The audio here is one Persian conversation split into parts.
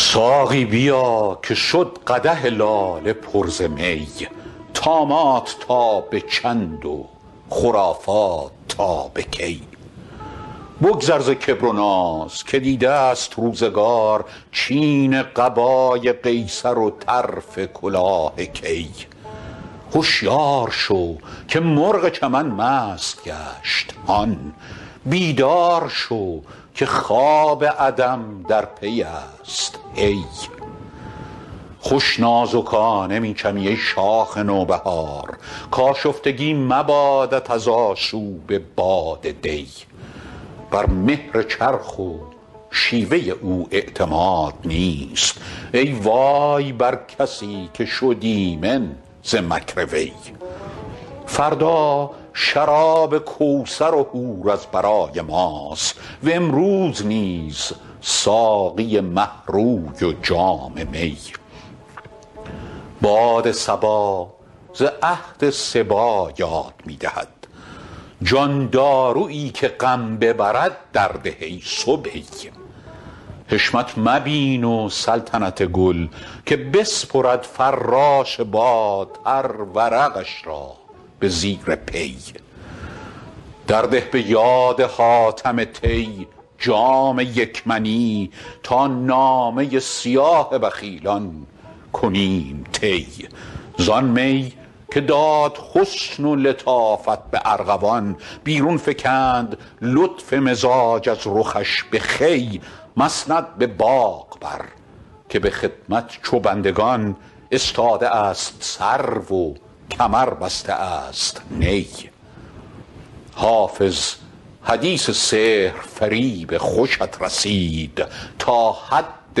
ساقی بیا که شد قدح لاله پر ز می طامات تا به چند و خرافات تا به کی بگذر ز کبر و ناز که دیده ست روزگار چین قبای قیصر و طرف کلاه کی هشیار شو که مرغ چمن مست گشت هان بیدار شو که خواب عدم در پی است هی خوش نازکانه می چمی ای شاخ نوبهار کآشفتگی مبادت از آشوب باد دی بر مهر چرخ و شیوه او اعتماد نیست ای وای بر کسی که شد ایمن ز مکر وی فردا شراب کوثر و حور از برای ماست و امروز نیز ساقی مه روی و جام می باد صبا ز عهد صبی یاد می دهد جان دارویی که غم ببرد درده ای صبی حشمت مبین و سلطنت گل که بسپرد فراش باد هر ورقش را به زیر پی درده به یاد حاتم طی جام یک منی تا نامه سیاه بخیلان کنیم طی زآن می که داد حسن و لطافت به ارغوان بیرون فکند لطف مزاج از رخش به خوی مسند به باغ بر که به خدمت چو بندگان استاده است سرو و کمر بسته است نی حافظ حدیث سحرفریب خوشت رسید تا حد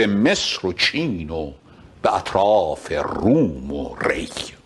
مصر و چین و به اطراف روم و ری